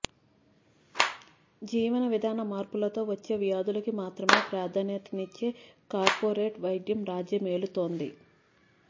జీవన విధాన మార్పులతో వచ్చే వ్యాధులకి మాత్రమే ప్రాధాన్యతనిచ్చే కార్పొరేట్ వైద్యం రాజ్యమేలుతోంది